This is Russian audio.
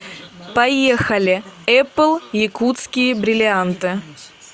поехали эпл якутские бриллианты